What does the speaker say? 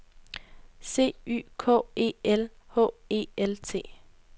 C Y K E L H E L T